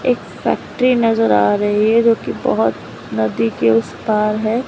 एक फैक्ट्री नजर आ रही है जो कि बहुत नदी के उस पार है।